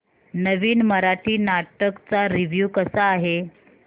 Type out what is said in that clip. नवीन मराठी नाटक चा रिव्यू कसा आहे